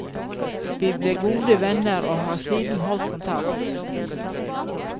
Vi ble gode venner, og har siden holdt kontakt.